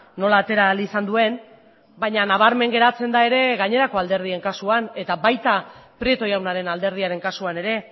nola atera ahal izan duen baina nabarmen geratzen da ere gainerako alderdien kasuan eta baita prieto jaunaren alderdiaren kasuan ere